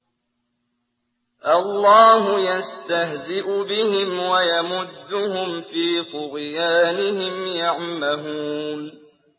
اللَّهُ يَسْتَهْزِئُ بِهِمْ وَيَمُدُّهُمْ فِي طُغْيَانِهِمْ يَعْمَهُونَ